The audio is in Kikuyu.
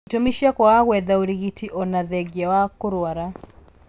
Itũmi cia kwaga gwetha ũrigiti ona thengia wa kũrwara